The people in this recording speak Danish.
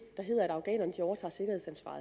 der hedder at afghanerne